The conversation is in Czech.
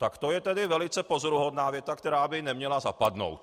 Tak to je tedy velice pozoruhodná věta, která by neměla zapadnout.